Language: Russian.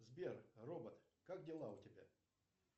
сбер робот как дела у тебя